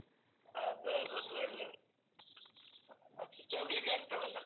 ಅದ್ ಹೌದು ಅದೊಳ್ಳೆದು ಆಚೀಚೆ ಹೋಗ್ಲಿಕ್ಕೆ ಆಗ್ತದಲ್ಲ.